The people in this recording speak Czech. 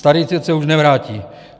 Starý svět se už nevrátí.